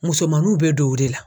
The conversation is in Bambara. Musomaninw be don o de la.